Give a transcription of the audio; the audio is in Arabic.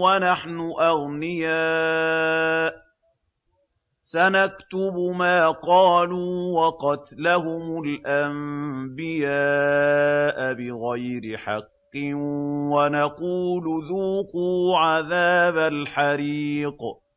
وَنَحْنُ أَغْنِيَاءُ ۘ سَنَكْتُبُ مَا قَالُوا وَقَتْلَهُمُ الْأَنبِيَاءَ بِغَيْرِ حَقٍّ وَنَقُولُ ذُوقُوا عَذَابَ الْحَرِيقِ